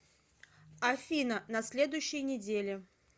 афина на следующей неделе